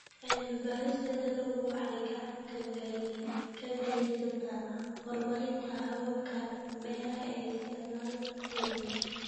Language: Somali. Cilmi-baarista dalaggu waxay gacan ka geysataa horumarinta hababka beeraha ee isticmaala dhul yar.